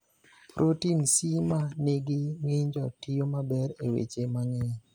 Protin C ma nigi ng’injo tiyo maber e weche mang’eny.